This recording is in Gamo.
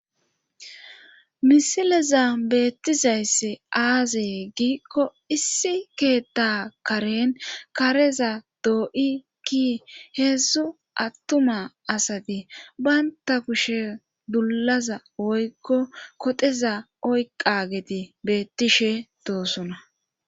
misileza beettizayssi aazee giikko issi keetta karen kareza doo7i ki heedzdzu attuma asati banta kushe dullaza woykko koxeza oyqa geti beettishe doosoona